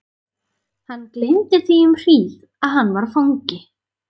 Hann gleymdi því um hríð að hann var fangi.